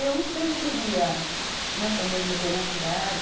Eu não sobreviveria, acho, né, com a mesma tenacidade.